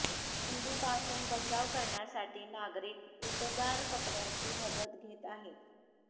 थंडीपासून बचाव करण्यासाठी नागरिक उबदार कपड्याची मदत घेत आहेत